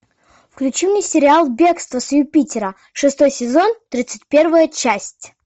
включи мне сериал бегство с юпитера шестой сезон тридцать первая часть